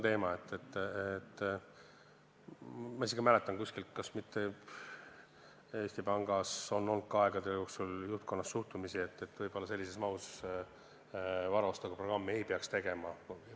Ma isegi mäletan kuskilt, et Eesti Panga juhtkonnas on aegade jooksul olnud suhtumist, et võib-olla sellises mahus varaostuprogrammi ei peaks ellu viima.